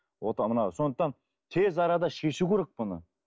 мынау сондықтан тез арада шешу керек бұны